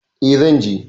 E, zan je.